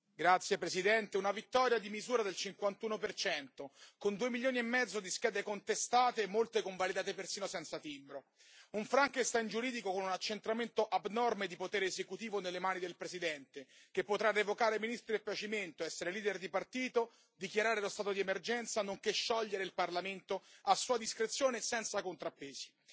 Signora Presidente, onorevoli colleghi, una vittoria di misura del 51 con due milioni e mezzo di schede contestate e molte convalidate persino senza timbro. Un Frankenstein giuridico con un accentramento abnorme di potere esecutivo nelle mani del presidente, che potrà revocare ministri a suo piacimento, essere leader di partito, dichiarare lo stato di emergenza, nonché sciogliere il parlamento a sua discrezione, senza contrappesi.